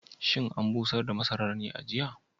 Shin an busar da masarar ne a jiya?